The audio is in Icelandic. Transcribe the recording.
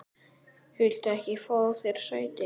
Viltu ekki fá þér sæti?